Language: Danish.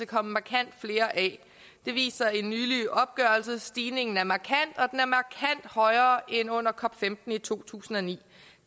kommet markant flere af det viser en nylig opgørelse stigningen er markant højere end under cop15 i to tusind og ni